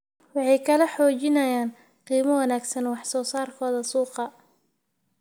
Waxay kala xaajoonayaan qiimo wanaagsan wax soo saarkooda suuqa.